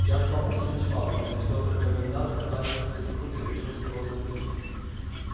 я стал просить за швабрина и добрый комендант с согласия своей супруги решился его освободить